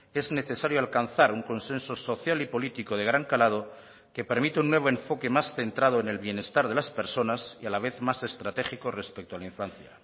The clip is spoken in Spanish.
es necesario alcanzar un consenso social y político de gran calado que permita un nuevo enfoque más centrado en el bienestar de las personas y a la vez más estratégico respecto a la infancia